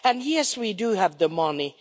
And yes, we do have the money.